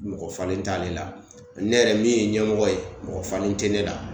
Mɔgɔ falen t'ale la ne yɛrɛ min ye ɲɛmɔgɔ ye mɔgɔ falenl te ne la